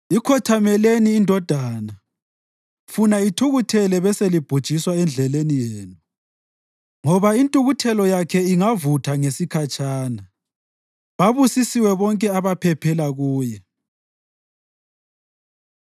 Ikhothameleni iNdodana, funa ithukuthele beselibhujiswa endleleni yenu, ngoba intukuthelo yakhe ingavutha ngesikhatshana. Babusisiwe bonke abaphephela kuye.